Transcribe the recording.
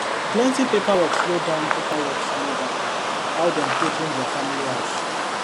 plenty paperwork slow down paperwork slow down how dem take change their family house